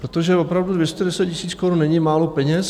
Protože opravdu 210 000 korun není málo peněz.